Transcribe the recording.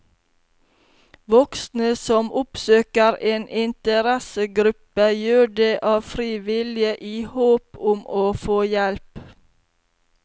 Voksne som oppsøker en interessegruppe, gjør det av fri vilje i håp om å få hjelp.